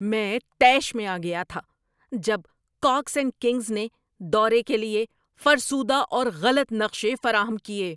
میں طیش میں آ گیا تھا جب کاکس اینڈ کنگز نے دورے کے لیے فرسودہ اور غلط نقشے فراہم کیے۔